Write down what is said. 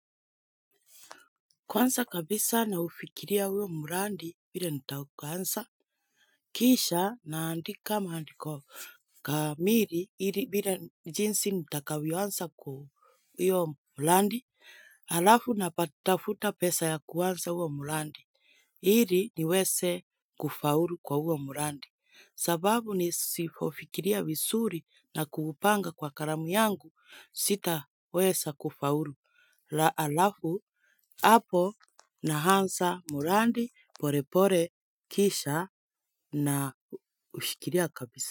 Kwanza kabisa naufikiria huyo mradi vile nitakaoanza, kisha naandika maandiko kamili, ili vile jinsi nitakavyoanza kwa hiyo mradi, halafu natafuta pesa ya kuanza huo mradi, ili niweze kufaulu kwa huo mradi. Sababu nisipofikiria vizuri na kuupanga kwa kalamu yangu sitaweza kufaulu halafu hapo naanza mradi polepole kisha na ushikilia kabisa.